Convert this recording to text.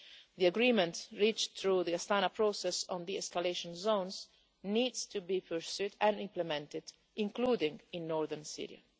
The agreement reached through the Astana Process on the escalation zones needs to be pursued and implemented, including in northern Syria.